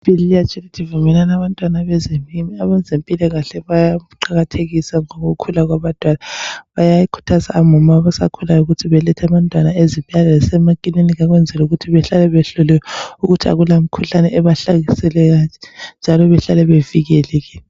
UJesu uyatsho ukuthi vumelani abantwana beze kimi. Abezempilakahle bayaqakathekisa ukukhula kwabantwana bayakhuthaza omama abasakhulayo ukuthi balethe abantwana ezibhedlela lasemakilinika ukwenzela ukuthi bahlale behloliwe ukuthi akulamkhuhlane ebahlaseleyo njalo behlale bevikelekile.